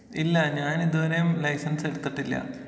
ഇല്ല ഞാൻ ഇതുവരെയും ലൈസൻസ് എടുത്തിട്ടില്ല.